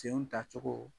Senw tacogo